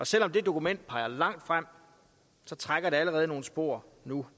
selv om det dokument peger langt frem trækker det allerede nogle spor nu